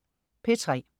P3: